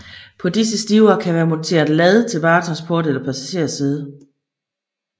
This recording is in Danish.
På disse stivere kan være monteret lad til varetransport eller passagersæde